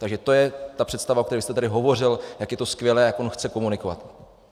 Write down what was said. Takže to je ta představa, o které jste tady hovořil, jak je to skvělé, jak on chce komunikovat.